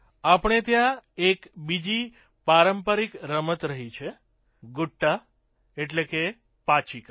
આપણે ત્યાં એક બીજી પારંપરિક રમત રહી છે ગુટ્ટા પાંચીકા